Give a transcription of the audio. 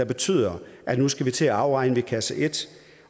betyder at vi nu skal til at afregne ved kasse et